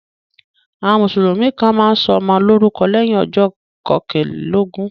Àwọn Mùsùlùmí kàn máa ń sọmọ lórúkọ lẹ́yìn ọjọ́ kọkànlélógún